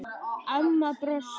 Amma brosti.